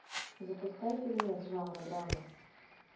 запускай фильмец жанра драма